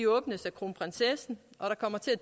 åbnes af kronprinsessen og der kommer til at